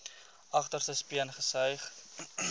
agterste speen gesuig